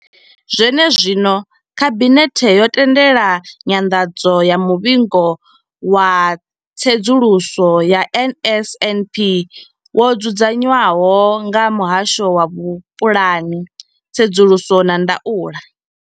Zwenezwino, khabinethe yo tendela nyanḓadzo ya muvhigo wa tsedzuluso ya NSNP wo dzudzanywaho nga muhasho wa vhupulani, tsedzuluso na ndaulo.